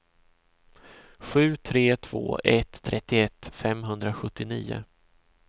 sju tre två ett trettioett femhundrasjuttionio